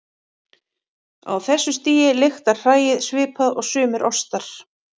Á þessu stigi lyktar hræið svipað og sumir ostar.